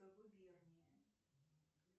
губернии